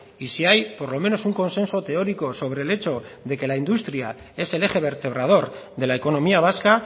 y si hay por lo menos un consenso teórico sobre el hecho de que la industria es el eje vertebrador de la economía vasca